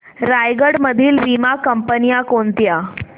रायगड मधील वीमा कंपन्या कोणत्या